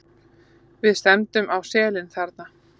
Við stefndum á selin þarna.